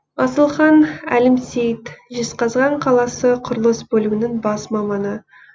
асылхан әлімсейіт жезқазған қаласы құрылыс бөлімінің бас маманы